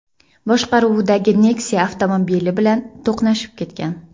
boshqaruvidagi Nexia avtomobili bilan to‘qnashib ketgan.